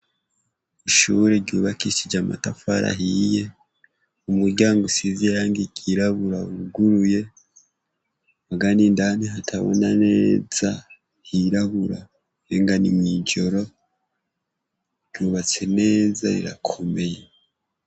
Ishure ryubakishije amatafari ahiye umuryango usize irangi ryirabura wuguruye muga n ' indani hatabona neza hirabura umengo ni mwijoro ryubatse neza rirakomeye.